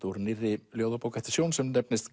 úr nýrri ljóðabók eftir Sjón sem nefnist